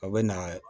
A bɛ na